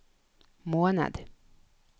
måned